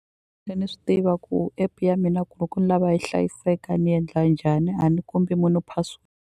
ni swi tiva ku app-e ya mina loko ni lava yi hlayiseka ni endla njhani a ni kombi munhu .